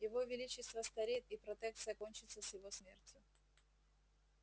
его величество стареет и протекция кончится с его смертью